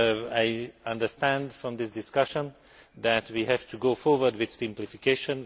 I understand from this discussion that we have to go forward with simplification.